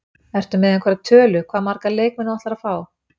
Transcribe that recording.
Ertu með einhverja tölu, hvað marga leikmenn þú ætlar að fá?